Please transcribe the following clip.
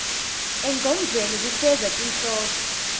engcondvweni kufeza tinhloso